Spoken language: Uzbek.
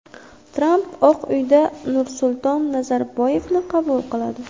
Tramp Oq uyda Nursulton Nazarboyevni qabul qiladi.